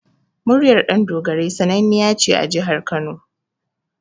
Muryar Ɗandogarai sannaniya ce a Jihar Kano.